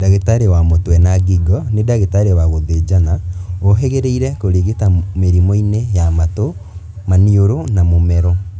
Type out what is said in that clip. Ndagĩtari wa mũtwe na ngingo, nĩ ndagĩtarĩ wa gũthĩnjana ũhĩgĩrĩire kũrigita mĩrimũ-inĩ ya matũ, maniũrũ na mũmero